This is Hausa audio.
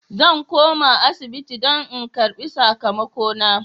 Zan koma asibiti don in karbi sakamakona.